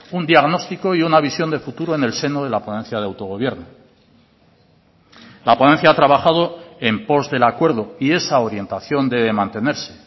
un diagnóstico y una visión de futuro en el seno de la ponencia de autogobierno la ponencia ha trabajado en pos del acuerdo y esa orientación debe mantenerse